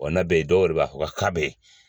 Wa n'a bɛ yen, dɔw yɛrɛ b'a fo ka bɛ yen.